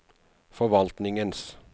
forvaltningens